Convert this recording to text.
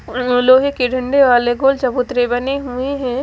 लोहे के डंडे वाले गोल चबूतरे बने हुए है।